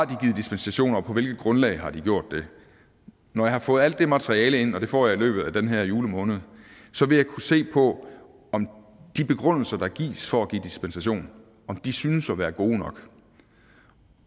dispensation og på hvilket grundlag har de gjort det når jeg har fået alt det materiale ind og det får jeg i løbet af den her julemåned så vil jeg kunne se på om de begrundelser der gives for at give dispensation synes at være gode nok